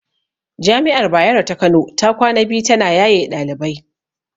Jami'ar Bayero ta Kano ta kwana biyu ta na yaye ɗalibai